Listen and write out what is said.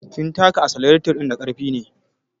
Kin taka asalareto ɗin da ƙarfi ne